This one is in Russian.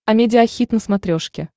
амедиа хит на смотрешке